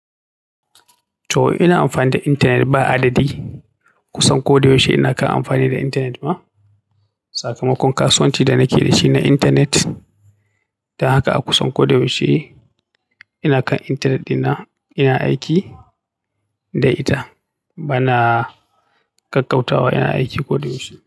To ina amfani da intanet ba adadi. Kusan koda yaushe ina kan amfani da intanet ma. Sakamakon kasuwanci da nake da shi na intanet. Don haka a kusan ko da yaushe ina kan intanet ɗina, ina aiki da ita. Bana ƙakkautawa, ina aiki ko da yaushe.